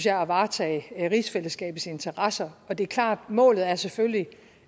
at varetage rigsfællesskabets interesser og det er klart at målet selvfølgelig